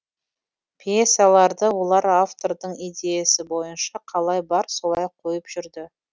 пьесаларды олар автордың идеясы бойынша қалай бар солай қойып жүрді